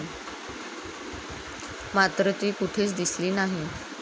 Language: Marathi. मात्र ती कुठेच दिसली नाही.